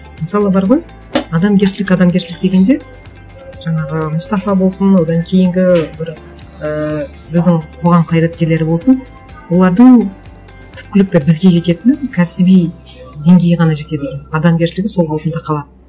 мысалы бар ғой адамгершілік адамгершілік дегенде жаңағы мұстафа болсын одан кейінгі бір ыыы біздің қоғам қайраткерлері болсын олардың түпкілікті бізге жететіні кәсіби деңгейі ғана жетеді екен адамгершілігі сол қалпында қалады